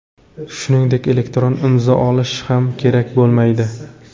Shuningdek elektron imzo olish ham kerak bo‘lmaydi.